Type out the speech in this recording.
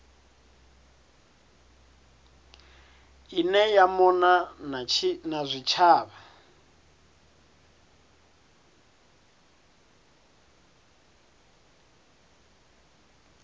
ine ya mona na zwitshavha